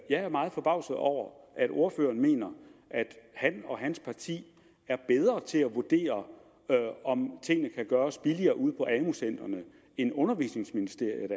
er meget forbavset over at ordføreren mener at han og hans parti er bedre til at vurdere om tingene kan gøres billigere ude på amu centrene end undervisningsministeriet